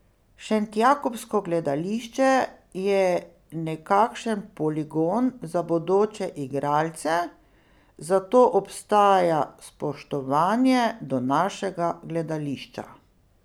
Šentjakobsko gledališče je nekakšen poligon za bodoče igralce, zato obstaja spoštovanje do našega gledališča.